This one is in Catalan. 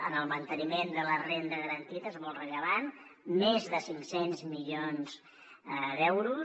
en el manteniment de la renda garantida és molt rellevant més de cinc cents milions d’euros